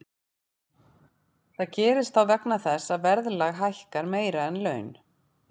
Það gerist þá vegna þess að verðlag hækkar meira en laun.